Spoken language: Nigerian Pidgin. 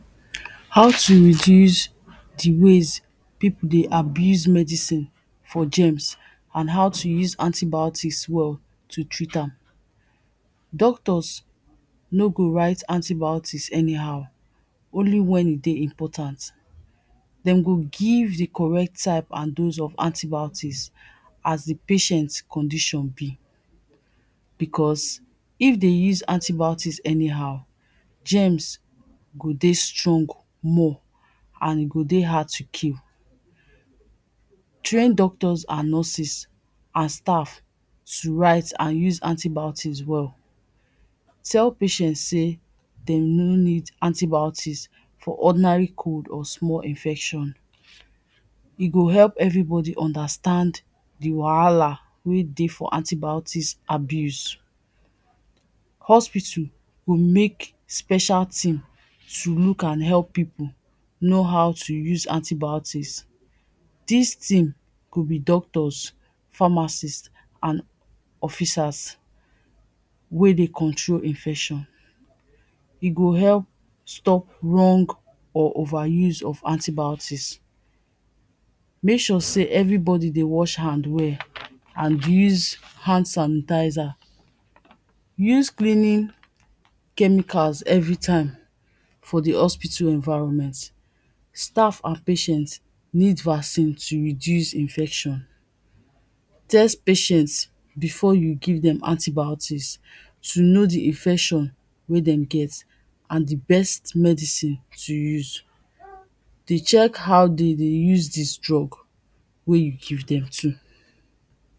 how to reduce the ways people de abuse medicine for germs and how to use antibiotics well to treat am. doctors no go write antibiotics any how only when e de important them go give the correct type and dose of antibiotics as the patients condition be because if they use antibiotics any how, germs go de strong more and e go de hard to kill. train doctors and nurses and staff to write and use antibiotics well tell patients say them really need antibiotics for ordinary cold or small infection. e go help everybody understand the wahala wey de for antibiotics abuse. hospital go make special thing to look and help people know how to use antibiotics. this team go be doctors, pharmacist and officers wey de control infection. e go help stop wrong or over use of antibiotics make sure say everybody de wash hand well and use hand sanitizer use cleaning chemicals everytime for the hospital environment staff and patients need vaccine to reduce infection test patients before you give them antibiotics to know de infection wey them get and de best medicine to use de check how de de use this drug wey you give them too.